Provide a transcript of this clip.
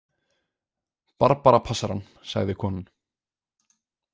Barbara passar hann, sagði konan.